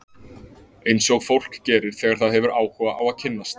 Eins og fólk gerir þegar það hefur áhuga á að kynnast.